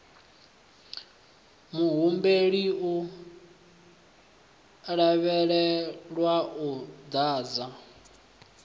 muhumbeli u lavhelelwa u ḓadza